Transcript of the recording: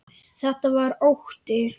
Þetta var ótti.